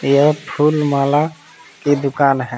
यह फूल माला की दुकान है।